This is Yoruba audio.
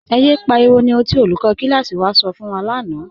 Ẹ̀ yẹ pariwo ni ohun tí olùkọ̀ kílásí wà sọ̀ fun wa lána.